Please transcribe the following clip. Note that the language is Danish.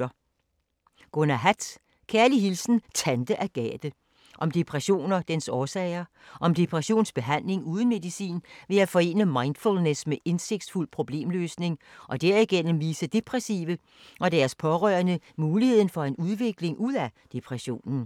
Hatt, Gunnar: Kærlig hilsen Tante Agathe Om depression og dens årsager. Om depressionsbehandling uden medicin ved at forene mindfullness med indsigtsfuld problemløsning og derigennem vise depressive og deres pårørende mulighederne for en udvikling ud af depressionen. Punktbog 418318 2018. 4 bind.